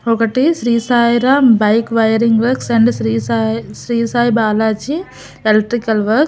ఒకటి Shri Sairam bike wiring works and Shri Sai Shri Sai Balaji electrical works--